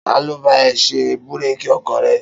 Ta ló fẹ́ bá ẹ ṣe búrékì ọkọ̀ rẹ?